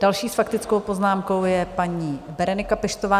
Další s faktickou poznámkou je paní Berenika Peštová.